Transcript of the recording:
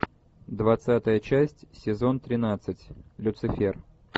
двадцатая часть сезон тринадцать люцифер